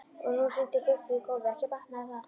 Og nú hrundi Guffi í gólfið, ekki batnaði það!